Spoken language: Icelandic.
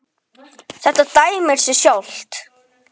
Þú ert minn maður.